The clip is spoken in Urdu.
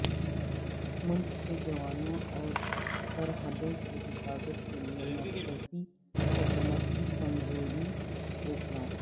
ملک کے جوانوں اور سرحدوں کی حفاظت کے لئے مرکزی حکومت کی کمزوری افسوس ناک